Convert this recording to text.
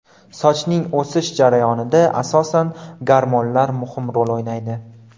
Sochning o‘sish jarayonida asosan gormonlar muhim rol o‘ynaydi.